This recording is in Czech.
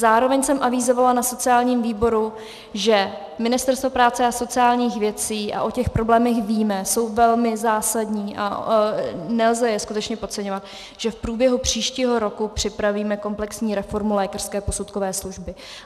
Zároveň jsem avizovala na sociálním výboru, že Ministerstvo práce a sociálních věcí, a o těch problémech víme, jsou velmi zásadní a nelze je skutečně podceňovat, že v průběhu příštího roku připravíme komplexní reformu lékařské posudkové služby.